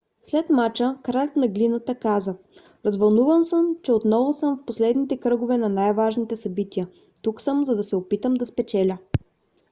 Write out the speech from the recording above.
след мача кралят на глината каза: развълнуван съм че отново съм в последните кръгове на най-важните събития. тук съм за да се опитам да спечеля